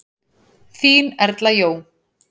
Þín Erla Jó.